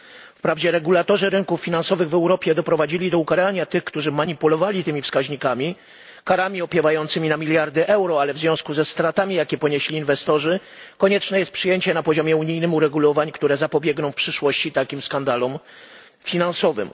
Wprawdzie regulatorzy rynków finansowych w Europie doprowadzili do ukarania tych, którzy manipulowali tymi wskaźnikami, karami opiewającymi na miliony euro, ale w związku ze stratami, jakie ponieśli inwestorzy, konieczne jest przyjęcie na poziomie unijnym uregulowań, które zapobiegną w przyszłości takim skandalom finansowym.